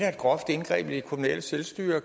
groft indgreb i det kommunale selvstyre